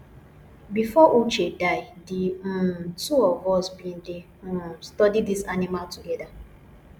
before uche die the um two of us bin dey um study dis animal together